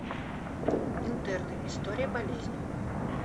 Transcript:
интерны история болезни